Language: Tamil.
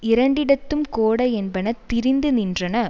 இரண்டிடத்தும் கோட என்பன திரிந்து நின்றன